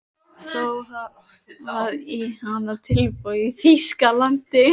Þó hafa komið í hana tilboð í Þýskalandi.